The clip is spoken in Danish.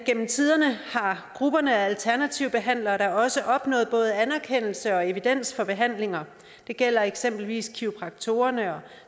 gennem tiderne har grupperne af alternative behandlere da også opnået både anerkendelse og evidens for behandlinger det gælder eksempelvis kiropraktorerne og